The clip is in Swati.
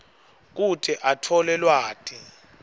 kute atfole lwati